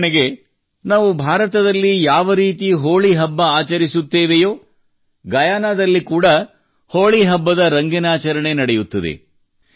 ಉದಾಹರಣೆಗೆ ನಾವು ಭಾರತದಲ್ಲಿ ಯಾವರೀತಿ ಹೋಳಿ ಹಬ್ಬ ಆಚರಿಸುತ್ತೇವೆಯೋ ಗಯಾನದಲ್ಲಿ ಕೂಡಾ ಹೋಳಿ ಹಬ್ಬದ ರಂಗಿನಾಚರಣೆ ನಡೆಯುತ್ತದೆ